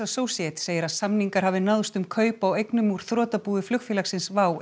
Associates segir að samningar hafi náðst um kaup á eignum úr þrotabúi flugfélagsins WOW